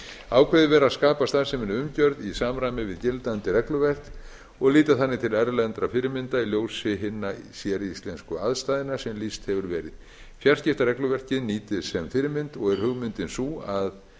ákveðið er að skapa starfseminni umgjörð í samræmi við gildandi regluverk og líta þannig til erlendra fyrirmynda í ljósi hinna séríslensku aðstæðna sem lýst hefur verið fjarskiptaregluverkið nýtist sem fyrirmynd og er hugmyndin sú að